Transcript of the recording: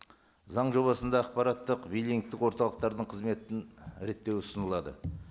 заң жобасында ақпараттық биллингтік орталықтардың қызметін реттеу ұсынылады